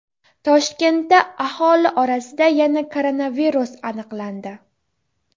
Toshkentda aholi orasida yana koronavirus aniqlandi.